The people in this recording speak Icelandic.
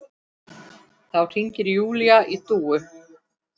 Þá hringir Júlía í Dúu.